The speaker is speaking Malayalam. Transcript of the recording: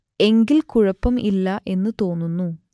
എങ്കിൽ കുഴപ്പം ഇല്ല എന്നു തോന്നുന്നു